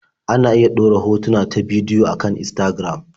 Ana iya ɗora hotuna ta bidiyo a kan Instagram.